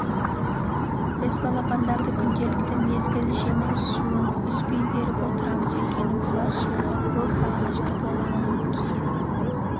біз балапандарды күнделікті мезгіл жемін суын үзбей беріп отырамыз өйткені бұлар суға көп бағынышты болғаннан кейін